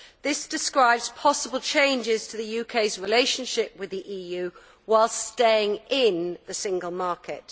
This manifesto describes possible changes to the UK's relationship with the EU whilst staying in the single market.